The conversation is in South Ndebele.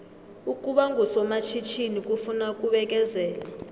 ukuba ngusomatjhithini kufuna ukubekezela